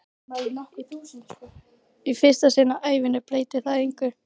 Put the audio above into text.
Í fyrsta sinn á ævinni breytir það engu.